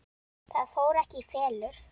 Það fór ekki í felur.